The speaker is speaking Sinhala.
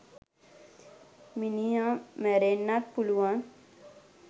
මිනිහ මැරෙන්නත් පුලුවන්